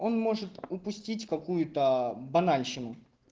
он может упустить какую-то банальщину